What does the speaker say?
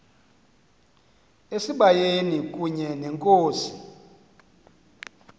esibayeni kunye nenkosi